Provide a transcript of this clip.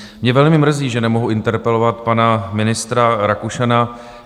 Mě velmi mrzí, že nemohu interpelovat pana ministra Rakušana.